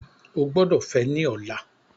O gbọdọ fẹ ni ọla!